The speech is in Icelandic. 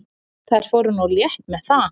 Þær fóru nú létt með það.